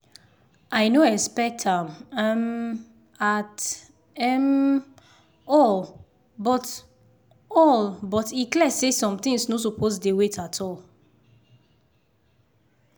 i no expect am um at um all but all but e clear say some things no suppose dey wait at all.